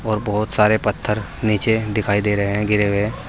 और बहोत सारे पत्थर नीचे दिखाई दे रहे हैं गिरे हुए है।